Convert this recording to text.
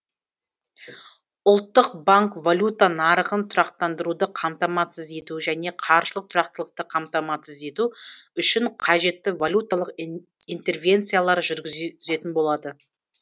ұлттық банк валюта нарығын тұрақтандыруды қамтамасыз ету және қаржылық тұрақтылықты қамтамасыз ету үшін қажетті валюталық интервенциялар жүргізетін болады